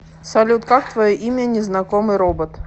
салют как твое имя незнакомый робот